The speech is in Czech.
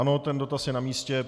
Ano, ten dotaz je na místě.